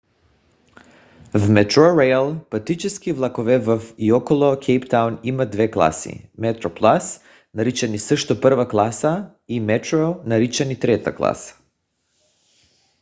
в metrorail пътнически влакове във и около кейптаун имат две класи: metroplus наричани също първа класа и metro наричани трета класа